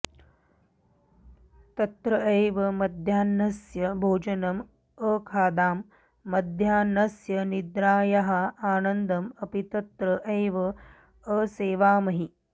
तत्र एव मध्याह्नस्य भोजनम् अखादाम मध्याह्नस्य निद्रायाः आनन्दम् अपि तत्र एव असेवामहि